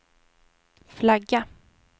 flagga